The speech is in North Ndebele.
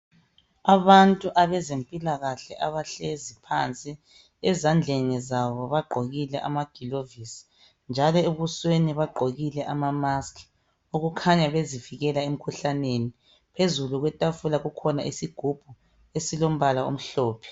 Abantu abezempilakahle abahlezi phansi ezandleni zabo bagqokile amagilovisi njalo ebusweni bagqokile amamask okukhanya bezivikela emkhuhlaneni phezulu kwetafula kukhona isigubhu esilombala omhlophe.